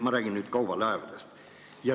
Ma räägin kaubalaevadest.